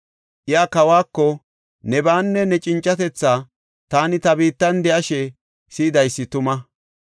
Iya kawako, “Nebaanne ne cincatethaa taani ta biittan de7ashe si7idaysi tuma.